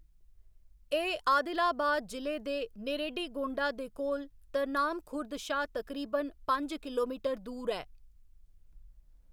एह्‌‌ आदिलाबाद जि'ले दे नेरेडीगोंडा दे कोल तरनाम खुर्द शा तकरीबन पंज किलोमीटर दूर ऐ।